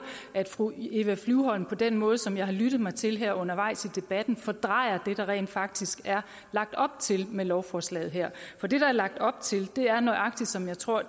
at fru eva flyvholm på den måde som jeg har lyttet mig til her undervejs i debatten fordrejer det der rent faktisk er lagt op til med lovforslaget her for det der er lagt op til er nøjagtigt som jeg tror